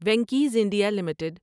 Venky's India limited